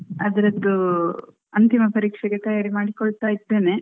ಅದ್ರದ್ದು ಅಂತಿಮ ಪರೀಕ್ಷೆಗೆ ತಯಾರಿ ಮಾಡಿಕೊಳ್ತ ಇದ್ದೇನೆ.